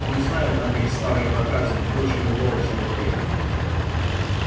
он знает о них старый проказник больше любого чародея